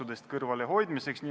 Head ametikaaslased!